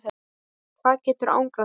hvað getur angrað þig?